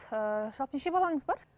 ыыы жалпы неше балаңыз бар